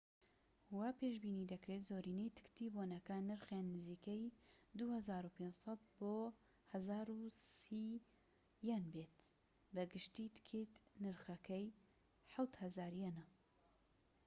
وا پێشبینی دەکرێت زۆرینەی تکتی بۆنەکان نرخیان نزیکەی ٢٥٠٠ بۆ ١٣٠،٠٠٠ یەن بێت، بە گشتی تکتێك نرخەکەی ٧٠٠٠ یەنە